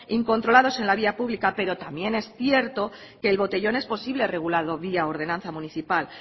incontrolados en la vía pública pero también es cierto que el botellón es posible regularlo vía ordenanza municipal